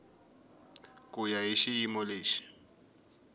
ku ya hi xiyimo lexi